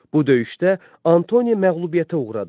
Bu döyüşdə Antoni məğlubiyyətə uğradı.